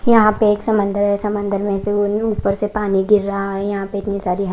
यहां पे एक समंदर है समंदर में ऊपर से पानी गिर रहा है यहां पे इतनी सारी --